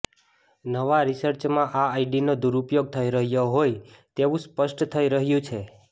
નવા રિચર્સમાં આ આઇડીનો દૂરપયોગ થઈ રહ્યો હોય તેવુ સ્પષ્ટ થઈ રહ્યુ છે